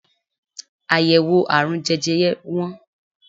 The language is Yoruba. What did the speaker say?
Àyèwò àrùn jẹjẹre wọ́n.